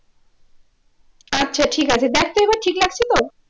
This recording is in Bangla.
আচ্ছা ঠিক আছে দেখতো এবার ঠিক লাগছে তো?